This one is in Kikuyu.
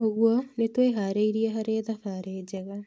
ũgũo, nĩ twĩharĩirie harĩ thabarĩ njega.